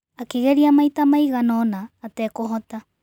Akĩgeria maita maigana ũna atekũhota.